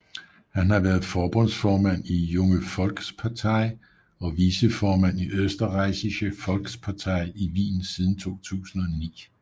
Han har været forbundsformand i Junge Volkspartei og viceformand i Österreichische Volkspartei i Wien siden 2009